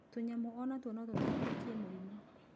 Tunyamũ onatuo no tũtambũrũkie mũrimũ